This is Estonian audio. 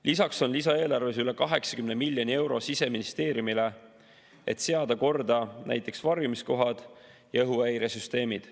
Lisaks on lisaeelarves üle 80 miljoni euro Siseministeeriumile, et seada korda näiteks varjumiskohad ja õhuhäiresüsteemid.